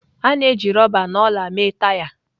A na-eji rọba na ọla mee taya.